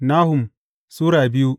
Nahum Sura biyu